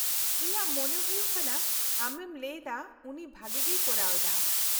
-ᱤᱧᱟᱹᱜ ᱢᱚᱱᱮ ᱦᱳᱭᱳᱜ ᱠᱟᱱᱟ ᱟᱢᱮᱢ ᱞᱟᱹᱭ ᱞᱮᱫᱟ ᱩᱱᱤ ᱵᱷᱟᱹᱜᱤᱜᱮᱭ ᱠᱚᱨᱟᱣ ᱮᱫᱟ ᱾